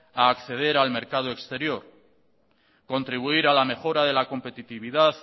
a acceder al mercado exterior contribuir a la mejora de la competitividad